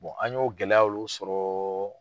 an ɲ'o gɛlɛya olu sɔrɔ